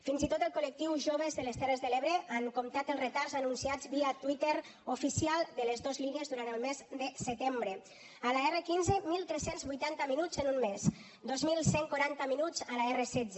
fins i tot el col·lectiu jóvens de les terres de l’ebre han comptat els retards anunciats via twitter oficial de les dos línies durant el mes de setembre a l’r15 tretze vuitanta minuts en un mes dos mil cent i quaranta minuts a l’r16